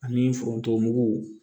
Ani forontomugu